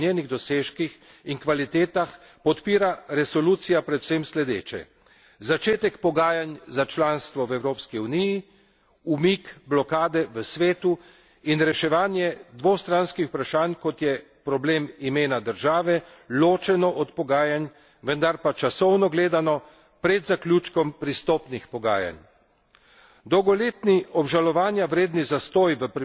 Po načelu, da bomo vsako državo kandidatko ocenjevali po njenih dosežkih in kvalitetah, podpira resolucija prevsem sledeče začetek pogajanj za članstvo v Evropski uniji, umik blokade v Svetu in reševanje dvostranskih vprašanj, kot je problem imena države, ločeno od pogajanj, vendar pa časovno gledano pred zaključkom pristopnih pogajanj.